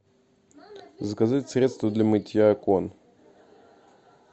заказать средство для мытья окон